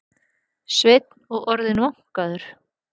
Sveinn og orðinn vankaður.